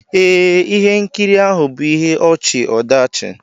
Ee, ihe nkiri ahụ bụ ihe ọchị-ọdachi.